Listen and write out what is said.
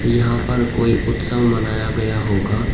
यहां पर कोई उत्सव मनाया गया होगा।